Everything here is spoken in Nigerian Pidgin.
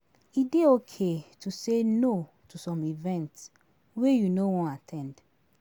E dey okay to say no to some events wey you no wan at ten d